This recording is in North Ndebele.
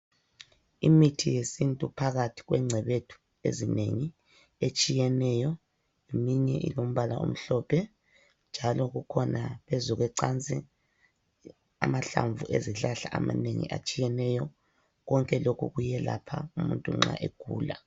Imithi yesintu phakathi kwe ngcebethu ezinengi etshiyeneyo eminye ilombala omhlophe, njalo kukhona phezu kwecansi amahlamvu ezihlahla amanengi atshiyeneyo, konke lokhu kuyelapha umuntu nxa egula.